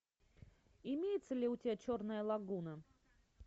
имеется ли у тебя черная лагуна